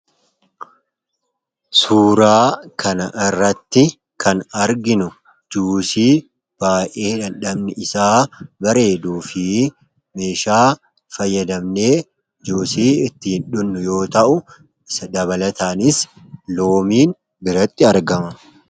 Suuraa kana irratti kan arginu juushii baay'ee dammi isaa bareeduu fi meeshaa fayyadamnee juusii ittiin dhugnu yoo ta'u, dabalataanis loomiin biratti argama.